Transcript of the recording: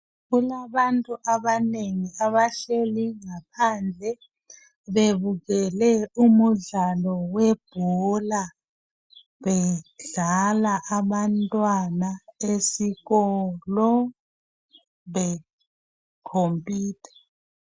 Kulabantu abanengi abahleli ngaphandle bebukele umudlalo webhola bedlala abantwana esikolo bekhompitha.